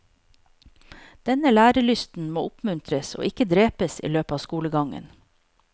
Denne lærelysten må oppmuntres, og ikke drepes i løpet av skolegangen.